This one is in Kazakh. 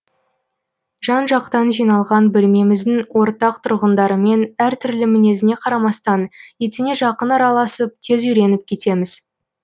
жан жақтан жиналған бөлмеміздің ортақ тұрғындарымен әр түрлі мінезіне қарамастан етене жақын араласып тез үйреніп кетеміз